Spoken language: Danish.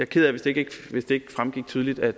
ked af hvis det ikke fremgik tydeligt af